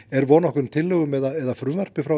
er von á tillögum eða frumvarpi frá